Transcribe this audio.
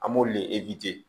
An b'olu de